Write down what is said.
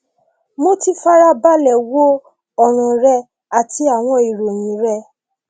mo ti farabalẹ wo ọràn rẹ àti àwọn ìròyìn rẹ